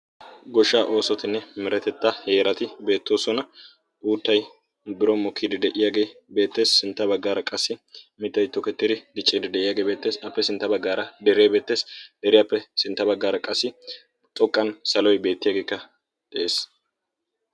goshshaa oosotinne meretetta heerati beettoosona. uuttay biron mokiiddi de7iyaagee beettees. sintta baggaara qassi mittay tookettiidi dicciidi de7iyaagee beettees. appe sintta baggaara deree beettees. deriyaappe sintta baggaara qassi xoqqan saloy beettiyaageekka de7ees.